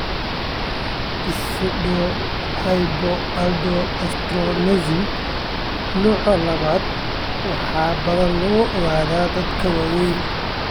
Pseudohypoaldosteronism nooca labad waxaa badanaa lagu ogaadaa dadka waaweyn.